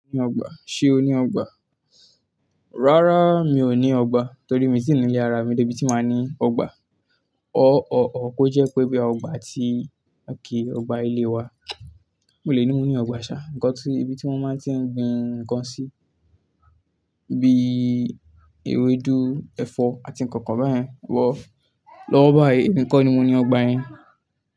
Se o ní ọgbà? Rárá mi ò ní ọgbà torí mi tì nílé ara mi débí tí máa ní ọgbà. Or kó jẹ́ pé boya ọgbà tí, okay, ọgbà ilé wa. Mo lè ní mo ní ọgbà ṣà, ibi tí wọ́n máa tiń gbin ǹkan sí, bí ewédú, ẹ̀fọ́ àti nǹkankan bẹ́ yẹ̀ lọ. Lọ́wọ́ báyìí emi kor ni mo ní ọgbà yẹn.